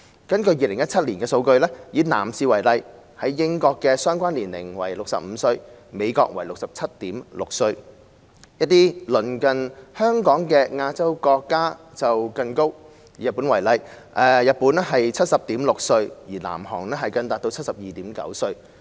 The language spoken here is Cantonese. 根據2017年的數據，以男士為例，英國的相關年齡為65歲，美國為 67.6 歲；一些鄰近香港的亞洲國家就更高，日本為 70.6 歲，南韓更達 72.9 歲。